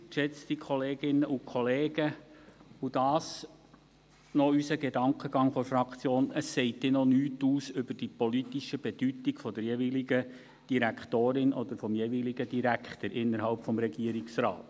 Allerdings, geschätzte Kolleginnen und Kollegen, dies noch der Gedankengang unserer Fraktion: Es sagt dann noch nichts aus über die politische Bedeutung der jeweiligen Direktorin oder des jeweiligen Direktors innerhalb des Regierungsrates.